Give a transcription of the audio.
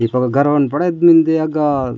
दीकप क घर वाले मन बड़ा आदमी देय गा --